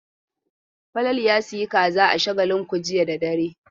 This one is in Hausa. Falalu ya sayi kaza a Shagalinku jiya da dare.